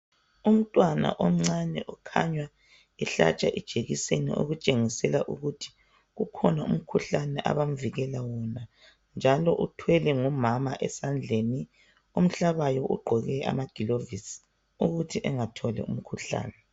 Umntwana omncane okhanya ehlatshwa ijekiseni okutshengisela ukuthi kukhona umkhuhlane abamvikela wona njalo uthwelwe ngumama esandleni, omhlabayo ugqoke amagilovisi ukuthi engatholi umkhuhlane.